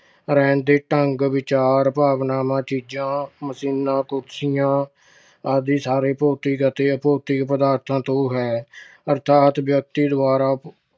ਰਹਿਣ ਦੇ ਢੰਗ, ਵਿਚਾਰ, ਭਾਵਨਾਵਾਂ, ਚੀਜਾਂ machines, ਕੁਰਸੀਆਂ ਆਦਿ ਸਾਰੇ ਭੌਤਿਕ ਅਤੇ ਅਭੌਤਿਕ ਪਦਾਰਥਾਂ ਤੋਂ ਹੈ। ਅਰਥਾਤ ਵਿਅਕਤੀ ਦੁਆਰਾ